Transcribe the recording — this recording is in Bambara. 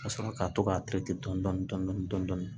Ka sɔrɔ ka to k'a dɔɔni dɔɔni